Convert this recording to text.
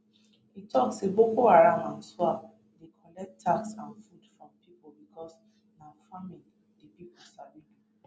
e tok say boko haram and iswap dey collect tax and food from pipo becos na farming di pipo sabi do